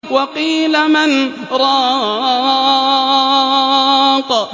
وَقِيلَ مَنْ ۜ رَاقٍ